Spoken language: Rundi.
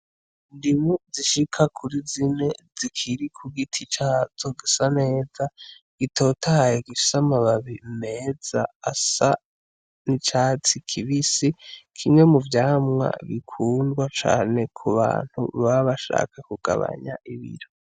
Indimu zishika kuri zine zikiri ku giti cazo gisa neza gitotahaye gifise amababi meza asa n’icatsi kibisi , kimwe mu vyamwa bikundwa cane ku bantu baba bashaka kugabanya ibiro.